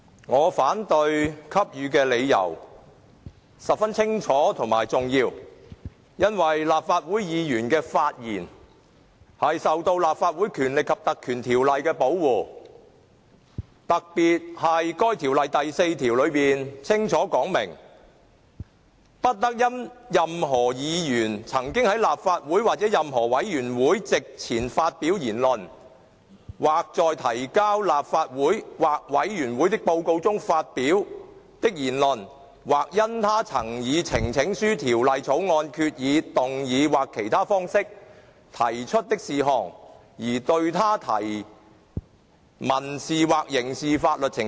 我反對給予許可的理由十分清楚及重要，因為立法會議員的發言受到《立法會條例》的保護，特別是該條例第4條清楚指明"不得因任何議員曾在立法會或任何委員會席前發表言論，或在提交立法會或委員會的報告書中發表的言論，或因他曾以呈請書、條例草案、決議、動議或其他方式提出的事項而對他提起民事或刑事法律程序。